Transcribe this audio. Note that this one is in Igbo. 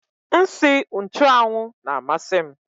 Nsị nchụ́anwu na amasị m